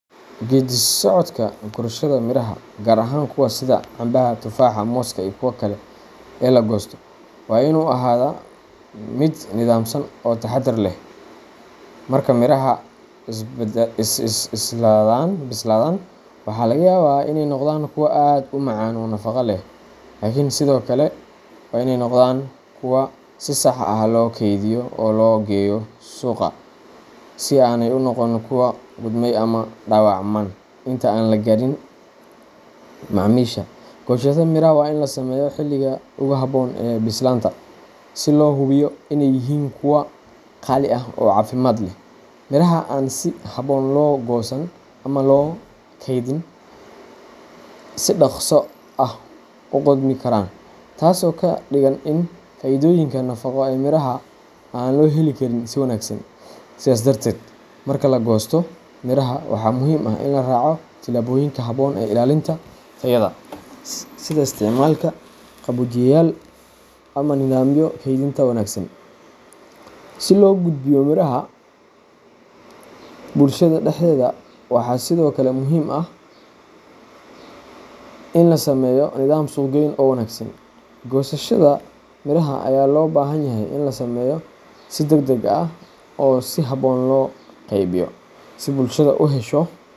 Geedi socodka gurashada miraha, gaar ahaan kuwa sida cambaha, tufaaxa, mooska, iyo kuwa kale ee la goosto, waa inuu ahaadaa mid nidaamsan oo taxadar leh. Marka miraha bislaadaan, waxaa laga yaabaa inay noqdaan kuwo aad u macaan oo nafaqo leh, laakiin sidoo kale waa inay noqdaan kuwo si sax ah loo kaydiyo oo loo geeyo suuqa si aanay u noqon kuwo qudhmay ama dhaawacmaan inta aan la gaadhin macaamiisha. Goosashada miraha waa in la sameeyaa xilliga ugu habboon ee bislaanta, si loo hubiyo inay yihiin kuwo qaali ah oo caafimaad leh. Miraha aan si habboon loo goosan ama loo kaydin ayaa si dhaqso ah u qudhmi kara, taasoo ka dhigan in faa’iidooyinka nafaqo ee miraha aan loo heli karin si wanaagsan. Sidaas darteed, marka la goosto miraha, waxaa muhiim ah in la raaco tillaabooyinka habboon ee ilaalinta tayada, sida isticmaalka qaboojiyeyaal ama nidaamyo kaydinta wanaagsan. Si loo gudbiyo miraha bulshada dhexdeeda, waxaa sidoo kale muhiim ah in la sameeyo nidaam suuqgeyn oo wanaagsan. Goosashada miraha ayaa loo baahan yahay in la sameeyo si degdeg ah oo si habboon loo qaybiyo, si bulshada u hesho.